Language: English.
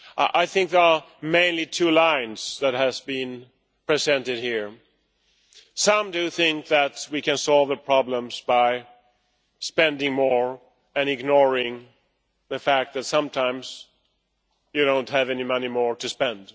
I think there are mainly two lines that have been presented here. Some think that we can solve the problems by spending more and ignoring the fact that sometimes there is no more money to spend.